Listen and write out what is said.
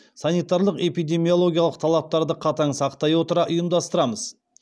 санитарлық эпидемиологиялық талаптарды қатаң сақтай отыра ұйымдастырамыз